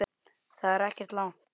Þetta er ekkert langt.